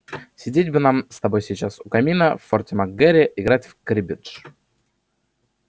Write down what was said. сидеть бы нам с тобой сейчас у камина в форте мак гэрри играть в криббедж